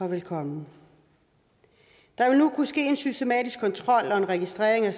velkommen der vil nu kunne ske en systematisk kontrol og registrering af